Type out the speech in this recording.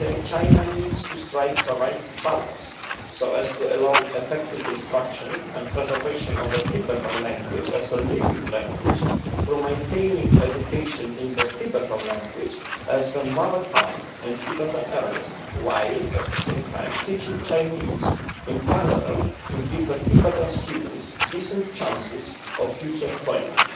China needs to strike the right balance so as to allow the effective instruction and preservation of the Tibetan language, as a living language for maintaining education in the Tibetan language and as the mother tongue in Tibetan areas while, at the same time, teaching Chinese in parallel to give Tibetan students decent chances of future employment.